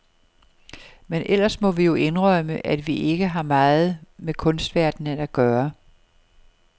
Men ellers må vi jo indrømme, at vi ikke har meget med kunstverdenen at gøre.